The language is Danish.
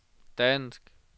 dansk